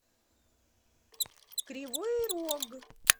кривой рог